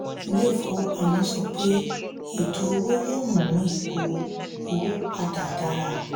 ilé ìfowópamọ́ sọ pé ètò owó yóò mú ipò owó pa dà dára.